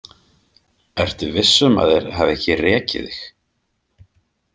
Ertu viss um að þeir hafa ekki rekið þig?